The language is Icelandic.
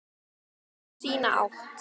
Sína átt.